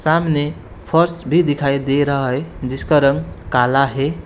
सामने फर्श भी दिखाई दे रहा है जिसका रंग काला है।